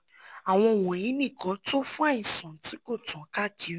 àwọn wọ̀nyí nìkan tó fún àìsàn tí kò tán káàkiri